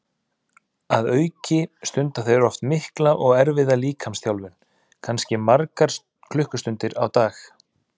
Að auki stunda þeir oft mikla og erfiða líkamsþjálfun, kannski margar klukkustundir á dag.